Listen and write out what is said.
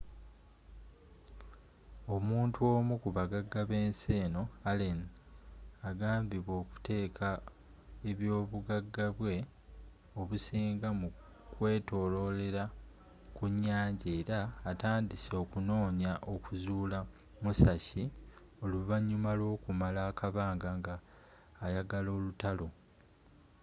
omuntu omu kubagaga b'ensi eno allen agambibwa okuteeka ebyobugagabwe obusinga mu kwetololera kunyanja era atandise okunoonya okuzuula musashi oluvanyuma lw'okumala akabanga nga ayagala olutalo